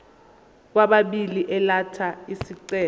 kwababili elatha isicelo